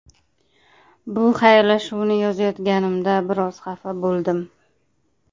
Bu xayrlashuvni yozayotganimda biroz xafa bo‘ldim.